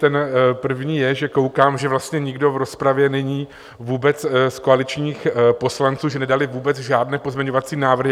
Ten první je, že koukám, že vlastně nikdo v rozpravě není vůbec z koaličních poslanců, že nedali vůbec žádné pozměňovací návrhy.